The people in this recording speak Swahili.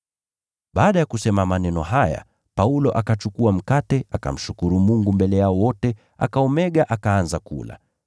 Baada ya kusema maneno haya, Paulo akachukua mkate, akamshukuru Mungu mbele yao wote, akaumega akaanza kula.